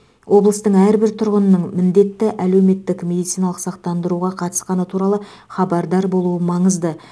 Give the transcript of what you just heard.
облыстың әрбір тұрғынының міндетті әлеуметтік медициналық сақтандыруға қатысқаны туралы хабардар болуы маңызды